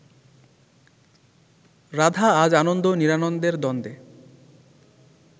রাধা আজ আনন্দ নিরানন্দের দ্বন্দ্বে